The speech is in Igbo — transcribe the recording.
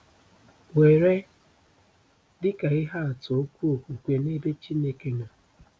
Were dịka ihe atụ okwu okwukwe n’ebe Chineke nọ.